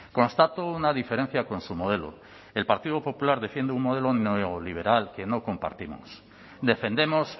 constato una diferencia con su modelo el partido popular defiende un modelo neoliberal que no compartimos defendemos